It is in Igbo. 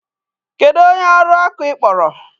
Kedu onye ọrụ ọkụ ị kpọrọ?